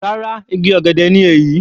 Rárá igi ọ̀gẹ̀dẹ̀ ni èyí.